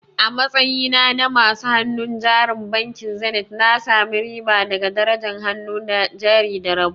A matsayina na masu hannun jarin bankin Zenith, na sami riba daga darajar hannun jari da rabo.